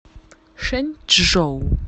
шэнчжоу